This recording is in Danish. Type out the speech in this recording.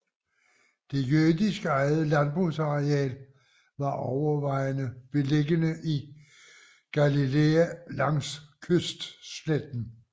Det jødisk ejede landbrugsland var overvejende beliggende i Galilæa langs kystsletten